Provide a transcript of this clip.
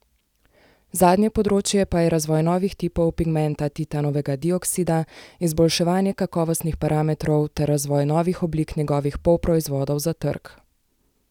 Zadnje področje pa je razvoj novih tipov pigmenta titanovega dioksida, izboljševanje kakovostnih parametrov ter razvoj novih oblik njegovih polproizvodov za trg.